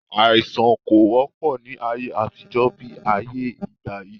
Àìsàn kò wọ́pọ̀ ni ayé àtijọ́ bí ayé ìgbàyí